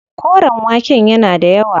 Koren waken yana da yawa.